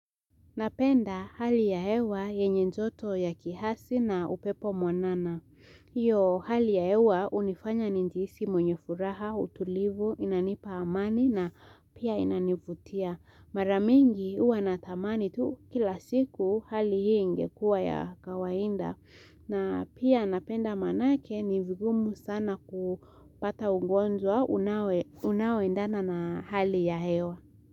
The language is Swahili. Napenda hali ya hewa yenye njoto ya kihasi na upepo mwanana. Iyo hali ya hewa unifanya njisi mwenye furaha, utulivu, inanipa amani na pia inanivutia. Mara mingi uwa na tamani tu kila siku hali hii ingekuwa ya kawainda. Na pia napenda manake ni vigumu sana kupata ungonjwa unao unao endana na hali ya hewa.